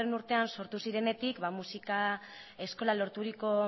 urtean sortu zirenetik musika eskola lorturiko